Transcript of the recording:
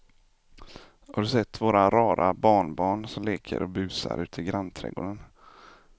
Har du sett våra rara barnbarn som leker och busar ute i grannträdgården!